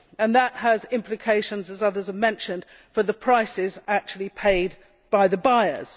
That has implications as others have mentioned for the prices actually paid by the buyers.